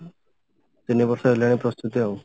ତିନି ବର୍ଷ ହେଲାଣି ପ୍ରସ୍ତୁତି ଆଉ